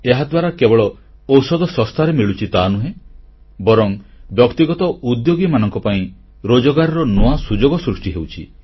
ଏହାଦ୍ୱାରା କେବଳ ଔଷଧ ଶସ୍ତାରେ ମିଳୁଛି ତାହାନୁହେଁ ବରଂ ବ୍ୟକ୍ତିଗତ ଉଦ୍ୟୋଗୀମାନଙ୍କ ପାଇଁ ରୋଜଗାରର ନୂଆ ସୁଯୋଗ ସୃଷ୍ଟି ହେଉଛି